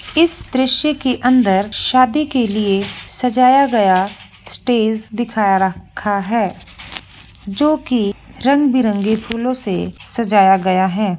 इस दृश्य के अंदर शादी के लिए सजाया गया स्टेज दिखाय रखा है। जो की रंग-बिरंगे फूलो से सजाय गया है।